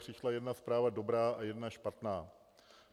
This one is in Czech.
Přišla jedna zpráva dobrá a jedna špatná.